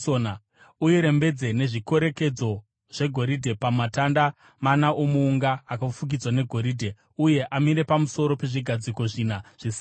Urirembedze nezvikorekedzo zvegoridhe pamatanda mana omuunga akafukidzwa negoridhe uye amire pamusoro pezvigadziko zvina zvesirivha.